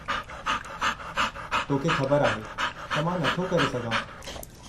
तोखे ख़बर आहे, त मां नथो करे सघां।